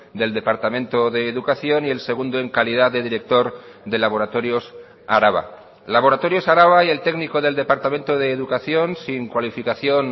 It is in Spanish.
del departamento de educación y el segundo en calidad de director de laboratorios araba laboratorios araba y el técnico del departamento de educación sin cualificación